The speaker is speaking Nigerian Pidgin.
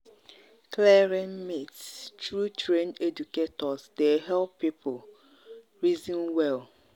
clearing myths through trained educators dey help people help people reason well.